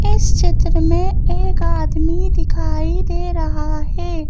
इस चित्र में एक आदमी दिखाई दे रहा है।